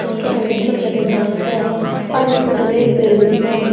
उसके अंदर छोटे छोटे घास है और इस फोटो में एक पेड़ भी दिख रहे हैं।